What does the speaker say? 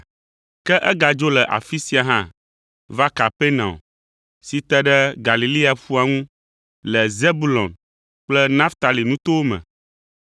ke egadzo le afi sia hã va Kapernaum si te ɖe Galilea ƒua ŋu le Zebulon kple Naftali nutowo me.